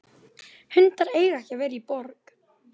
Kannski veit ég minnst hvað þér líður.